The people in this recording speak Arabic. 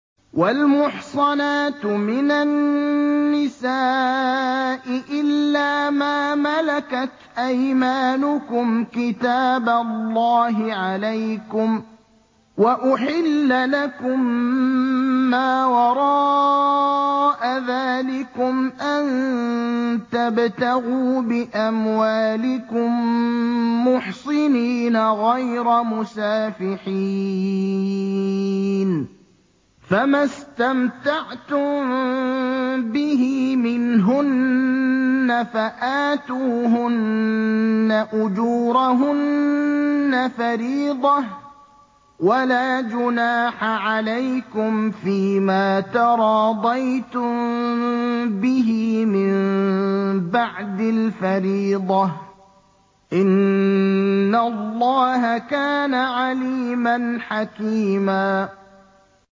۞ وَالْمُحْصَنَاتُ مِنَ النِّسَاءِ إِلَّا مَا مَلَكَتْ أَيْمَانُكُمْ ۖ كِتَابَ اللَّهِ عَلَيْكُمْ ۚ وَأُحِلَّ لَكُم مَّا وَرَاءَ ذَٰلِكُمْ أَن تَبْتَغُوا بِأَمْوَالِكُم مُّحْصِنِينَ غَيْرَ مُسَافِحِينَ ۚ فَمَا اسْتَمْتَعْتُم بِهِ مِنْهُنَّ فَآتُوهُنَّ أُجُورَهُنَّ فَرِيضَةً ۚ وَلَا جُنَاحَ عَلَيْكُمْ فِيمَا تَرَاضَيْتُم بِهِ مِن بَعْدِ الْفَرِيضَةِ ۚ إِنَّ اللَّهَ كَانَ عَلِيمًا حَكِيمًا